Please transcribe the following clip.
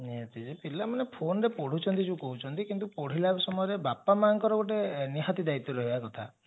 ପିଲାମାନେ phone ରେ ପଢୁଛନ୍ତି ଯଉ କହୁଛନ୍ତି କିନ୍ତୁ ପଢିଲା ସମୟରେ ବାପା ମାଙ୍କର ଗୋଟେ ନିହାତି ଦାୟିତ୍ବ ରହିବା କଥା